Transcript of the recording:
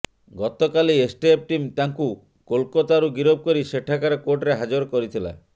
ଗତକାଲି STF team ତାଙ୍କୁ କୋଲକାତାରୁ ଗିରଫ କରି ସେଠାକାର କୋର୍ଟରେ ହାଜର କରିଥିଲା